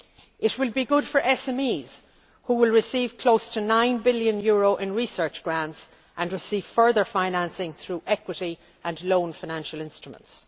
EU. It will be good for SMEs which will receive close to EUR 9 billion in research grants and will receive further financing through equity and loan financial instruments.